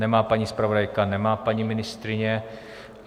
Nemá paní zpravodajka, nemá paní ministryně.